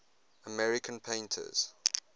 american painters